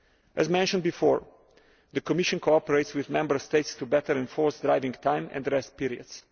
As mentioned before, the Commission cooperates with Member States to better enforce driving time and rest periods.